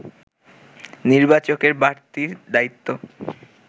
নির্বাচকের বাড়তি দায়িত্ব